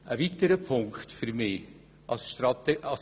Ein weiterer Punkt ist das E-Government.